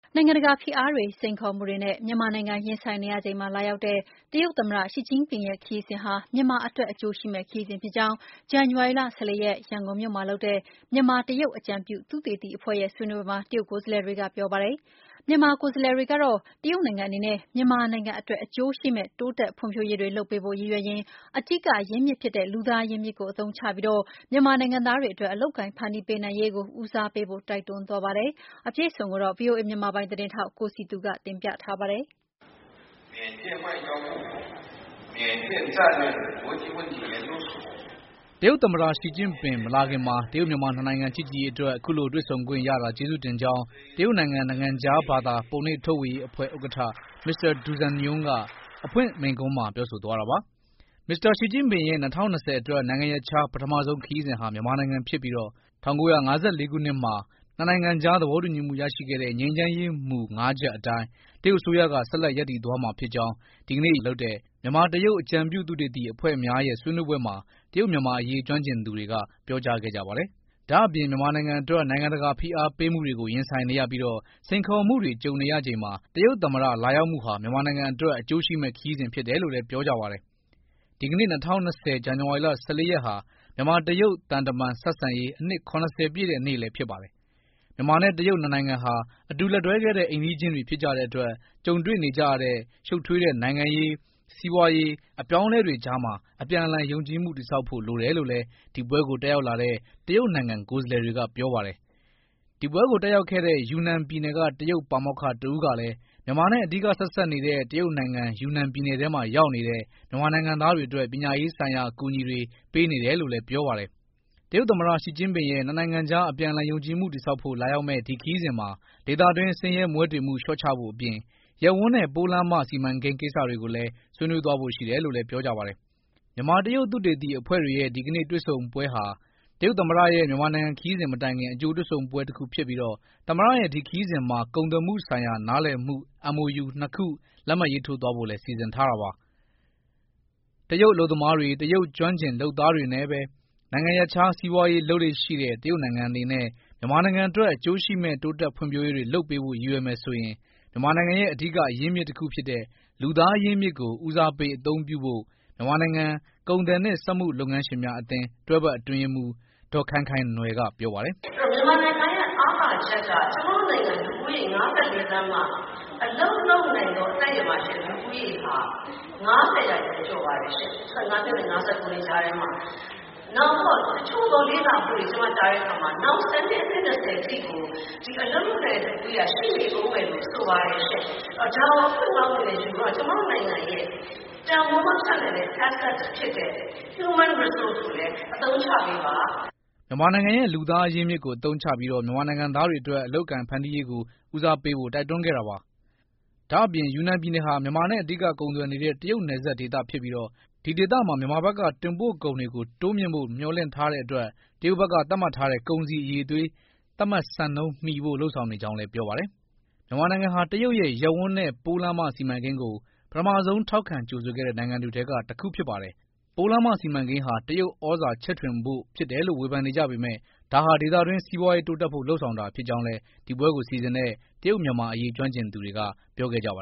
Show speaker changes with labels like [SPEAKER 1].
[SPEAKER 1] နိုင်ငံတကာဖိအားတွေ၊စိန်ခေါ်မှုတွေနဲ့ မြန်မာနိုင်ငံ ရင်ဆိုင်နေရချိန်မှာ လာရောက်တဲ့တရုတ်သမ္မတ ရှီကျင့်ပင့်ရဲ့ခရီးစဉ်ဟာ မြန်မာအတွက် အကျိုးရှိမယ့်ခရီးစဉ်ဖြစ်ကြောင်း ဇန်နဝါရီ ၁၄ရက် ရန်ကုန်မြို့မှာလုပ်တဲ့ မြန်မာ-တရုတ် အကြံပြုသုတေသီအဖွဲ့ရဲ့ ဆွေးနွေးပွဲမှာ တရုတ်ကိုယ်စားလှယ်တွေက ပြောပါတယ်။ မြန်မာကိုယ်စားလှယ်တွေက တော့ တရုတ်နိုင်ငံအနေနဲ့မြန်မာနိုင်ငံအတွက် အကျိုးရှိမယ့် တိုးတက်ဖွံ့ဖြိုးရေးတွေ လုပ်ပေးဖို့ရည်ရွယ်ရင် အဓိက အရင်းမြစ်ဖြစ်တဲ့ လူသားအရင်းအမြစ်ကို အသုံးချပြီးမြန်မာနိုင်ငံသားတွေ အတွက် အလုပ်အကိုင် ဖန်တီးပေးနိုင် ရေးကို ဦးစားပေးဖို့တိုက်တွန်းသွား ပါတယ်။ အပြည့်အစုံကို ဗွီအိုအေ မြန်မာပိုင်းသတင်းထောက် ကိုစည်သူ က ပြောပြပေးမှာပါ
[SPEAKER 2] ။
[SPEAKER 3] တရုတ်သမ္မတ ရှီကျင့်ပင် မလာခင်မှာ တရုတ်-မြန်မာနှစ်နိုင်ငံချစ်ကြည်ရေးအတွက် အခုလိုတွေ့ဆုံခွင့်ရတာကျေးဇူးတင်ကြောင်း တရုတ်နိုင်ငံနိုင်ငံခြားဘာသာပုံနှိပ်ထုတ်ဝေရေးအဖွဲ့ ဥက္ကဌ မစ္စတာ ဒူဇန်ယွန်းက အဖွင့်မိန့်ခွန်းမှာပြောဆိုသွားတာပါ။ သမ္မတရှီကျင့်ပင်ရဲ့ ၂၀၂၀ အတွက် နိုင်ငံရပ်ခြား ပထမဆုံးခရီးစဉ်ဟာ မြန်မာနိုင်ငံဖြစ်ပြီး ၁၉၅၄ မှာ နှစ်နိုင်ငံကြား သဘောတူညီမှု ရရှိခဲ့တဲ့ ငြိမ်းချမ်းရေးမူ ၅ ချက် အတိုင်း တရုတ်အစိုးရက ဆက်လက် ရပ်တည် သွားမှာ ဖြစ် ကြောင်း ဒီနေ့ ရန်ကုန် Wyndham Garden Hotel မှာ လုပ်တဲ့ မြန်မာ-တရုတ် အကြံပြု သုတေသီ အဖွဲ့များ ရဲ့ ဆွေးနွေးပွဲမှာ တရုတ်- မြန်မာအရေး ကျွမ်းကျင်သူတွေ က ပြောကြားခဲ့ကြပါတယ်။ ဒါ့အပြင် မြန်မာနိုင်ငံ အတွက် နိုင်ငံတကာ ဖိအားပေးမှုတွေကို ရင်ဆိုင်နေရပြီး စိန်ခေါ်မှုတွေ ကြုံနေရ ချိန်မှာ တရုတ်သမ္မတ လာရောက်မှုဟာ မြန်မာနိုင်ငံအတွက် အကျိုးရှိမယ့် ခရီးစဉ် ဖြစ်တယ်လို့လည်း ပြောပါတယ်။ ဒီကနေ့ ၂၀၂၀ ဇန်နဝါရီ ၁၄ရက်ဟာ မြန်မာ-တရုတ် သံတမန်ဆက်ဆံရေး အနှစ် ၇၀ပြည့် တဲ့ နေ့ဖြစ်ပါတယ်။ မြန်မာနဲ့ တရုတ် ၂ နိုင်ငံဟာ အတူ လက်တွဲခဲ့တဲ့ အိမ်နီးချင်းတွေဖြစ် ကြတဲ့ အတွက် ကြုံတွေ့နေကြရတဲ့ ရှုပ်ထွေးတဲ့ နိုင်ငံရေး၊ စီးပွားရေး အပြောင်းအလဲ တွေကြားမှာ အပြန်အလှန် ယုံကြည်မှု တည်ဆောက်ဖို့ လိုတယ်လို့လည်း ဒီပွဲကို တက်ရောက်လာတဲ့ တရုတ်နိုင်ငံ ကိုယ်စားလှယ်တွေက ပြောပါတယ်။ ဒီပွဲကို တက်ရောက်လာတဲ့ ယူနန်ပြည်နယ်က တရုတ်ပါမောက္ခ တဦးကလည်း မြန်မာနဲ့ အဓိက ထိစပ်နေတဲ့ တရုတ်နိုင်ငံ ယူနန်ပြည်နယ် ထဲမှာ ရောက်နေတဲ့ မြန်မာနိုင်ငံသား တွေ အတွက် ပညာရေး ဆိုင်ရာမှာ အကူအညီတွေ ပေးနေတယ်လို့လည်း ပြောပါတယ်။ တရုတ်သမ္မတ ရှီကျင်းပင်ရဲ့ နှစ်နိုင်ငံကြား အပြန်အလှန် ယုံကြည်မှုတည်ဆောက်ဖို့ လာရောက်တဲ့ ဒီခရီးစဉ်မှာ ဒေသတွင်း ဆင်းရဲမွဲတေမှု လျှော့ချဖို့အပြင် ရပ်ဝန်းနဲ့ ပိုးလမ်းမစီမံကိန်း ကိစ္စ တွေကို လည်း ဆွေးနွေးသွားဖို့ ရှိတယ်လို့ လည်း ပြောပါတယ်။ မြန်မာ-တရုတ် သုတေသီအဖွဲ့တွေရဲ့ ဒီကနေ့ တွေ့ဆုံပွဲဟာ တရုတ်သမ္မတရဲ့ မြန်မာနိုင်ငံခရီးစဉ်မတိုင်ခင် အကြိုတွေ့ဆုံပွဲတခုဖြစ် ပြီး သမ္မတရဲ့ ဒီခရီးစဉ်မှာ ကုန်သွယ်မှုဆိုင်ရာ နားလည်မှုစာချုပ် MOU ၂ ခု လက်မှတ် ရေးထိုးဖို့လည်း စီစဉ်ထားတာပါ။ တရုတ် အလုပ်သမားတွေ တရုတ် ကျွမ်းကျင်လုပ်သားတွေ နဲ့ ပဲ နိုင်ငံ ရပ်ခြားစီးပွါးရေး လုပ်လေ့ရှိတဲ့ တရုတ်နိုင်ငံ အနေနဲ့ မြန်မာ နိုင်ငံအတွက် အကျိုးရှိမယ့် တိုးတက်ဖွံ့ဖြိုးရေးတွေ လုပ်ပေးဖို့ ရည်ရွယ်မယ် ဆိုရင် မြန်မာနိုင်ငံရဲ့ အဓိက အရင်းမြစ် တခုဖြစ်တဲ့ လူသားအရင်းအမြစ်ကို ဦးစားပေး အသုံးပြုဖို့ မြန်မာနိုင်ငံ ကုန်သည်နှင့် စက်မှုလုပ်ငန်းရှင်များ အသင်း တွဲဖက် အထွေထွေ အတွင်းရေးမှူး ဒေါ်ခိုင်ခိုင်နွယ်က ပြောပါတယ်။ “ မ
[SPEAKER 2] ြန်မာနိုင်ငံရဲ့ အားသာချက်က ကျမတို့နိုင်ငံလူဦးရေ ၅၄ သန်းမှာ အလုပ်လုပ်နိုင်စွမ်းရှိတဲ့လူဦးရေဟာ ၅၀%ကျော်ပါတယ်ရှင့်။ ၁၅နှစ်နဲ့ ၅၉နှစ်ကြားထဲမှာ။ တချို့သောလေ့လာမှုတွေ ကျမကြားတဲ့အခါမှာ နောက်၁၀နှစ်၊ အနှစ် ၂၀အထိကို ဒီအလုပ်လုပ်နိုင်တဲ့ လူဦးရေဟာ ရှိနေဦးမယ်လို့ ဆိုပါတယ်ရှင့်။ ဒါကို အခွင့်ကောင်းအနေနဲ့ ယူပြီးတော့ ကျမတို့နိုင်ငံရဲ့ တန်ဖိုးမဖြစ်နိုင်တဲ့ assets ဖြစ်တဲ့ human resource ကိုလည်း အသုံးချပေးပါ။”
[SPEAKER 3] မြန်မာနိုင်ငံရဲ့ လူသားအရင်းအမြစ်ကို အသုံးချပြီး မြန်မာနိုင်ငံသားတွေ အတွက် အလုပ်အကိုင် ဖန်တီးပေးနိုင် ရေးကို ဦးစားပေးဖို့ တိုက်တွန်းခဲ့တာပါ။ ဒါ့အပြင် ယူနန်ပြည်နယ်ဟာ မြန်မာနဲ့ အဓိက ကုန်သွယ်နေတဲ့ တရုတ်နယ်စပ်ဒေသ ဖြစ်ပြီး ဒီဒေသမှာ မြန်မာဘက်က တင်ပို့ကုန် တွေတိုးမြှင့်ဖို့ မျှော်လင့်ထားတဲ့ အတွက် တရုတ်ဘက်က သတ်မှတ်ထားတဲ့ ကုန်စည်အရည်သွေး သတ်မှတ်စံနှုန်း AQSIQ မီဖို့ လုပ်ဆောင် နေကြောင်း လည်း ပြောပါတယ်။ မြန်မာနိုင်ငံဟာ တရုတ်ရဲ့ ရပ်ဝန်းနဲ့ ပိုးလမ်းမစီမံကိန်းကို အဦးဆုံးထောက်ခံကြိုဆိုခဲ့တဲ့ နိုင်ငံတွေထဲကတခု ဖြစ်ပါတယ်။ ပိုးလမ်းမစီမံကိန်းဟာ တရုတ်ဩဇာချဲ့ထွင်ဖို့ ဖြစ်ကြောင်း ဝေဖန်နေကြ ပေမယ့် ဒါဟာဒေသတွင်း စီးပွားရေး တိုးတက်ဖို့ လုပ်ဆောင်တာ ဖြစ်ကြောင်းလည်း ဒီပွဲကိုစီစဉ်တဲ့ တရုတ် မြန်မာ အရေး ကျွမ်းကျင်သူတွေက ပြောကြားခဲ့ပါ